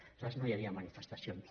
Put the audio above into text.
aleshores no hi havia manifestacions